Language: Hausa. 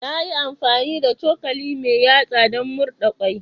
Na yi amfani da cokali mai yatsa don murɗa kwai.